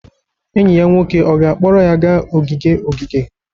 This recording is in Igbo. Enyi ya nwoke ọ ga-akpọrọ ya gaa ogige ogige?